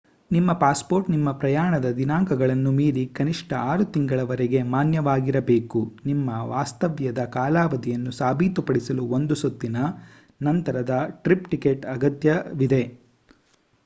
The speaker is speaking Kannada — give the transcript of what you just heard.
ನಿಮ್ಮ ಪಾಸ್‌ಪೋರ್ಟ್ ನಿಮ್ಮ ಪ್ರಯಾಣದ ದಿನಾಂಕಗಳನ್ನು ಮೀರಿ ಕನಿಷ್ಠ 6 ತಿಂಗಳವರೆಗೆ ಮಾನ್ಯವಾಗಿರಬೇಕು. ನಿಮ್ಮ ವಾಸ್ತವ್ಯದ ಕಾಲಾವಧಿಯನ್ನು ಸಾಬೀತುಪಡಿಸಲು ಒಂದು ಸುತ್ತಿನ / ನಂತರದ ಟ್ರಿಪ್ ಟಿಕೆಟ್ ಅಗತ್ಯವಿದೆ